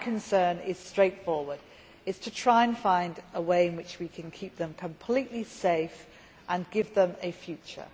My concern is straightforward. It is to try to find a way in which we can keep them completely safe and give them a future.